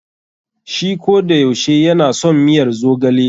Shi kodayaushe ya na son miyar zogale.